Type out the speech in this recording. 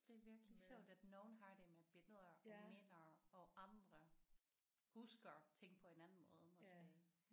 Det er virkelig sjovt at nogen har det med billeder og minder og andre husker ting på en anden måde måske